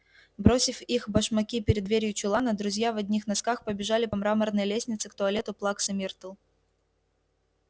бросив их башмаки перед дверью чулана друзья в одних носках побежали по мраморной лестнице к туалету плаксы миртл